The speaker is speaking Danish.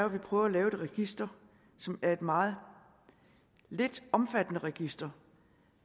vi prøver at lave et register som er et meget lidt omfattende register